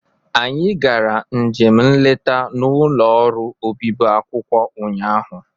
Anyị gara njem nleta n'ụlọ orụ obibi akwụkwọ ụnyaahụ.